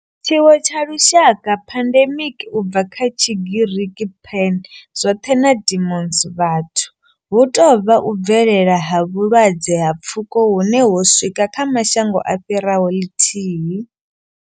Tshiwo tsha lushaka pandemic, u bva kha Tshigiriki pan, zwoṱhe na demos, vhathu hu tou vha u bvelela ha vhulwadze ha pfuko hune ho swika kha mashango a fhiraho ḽithihi.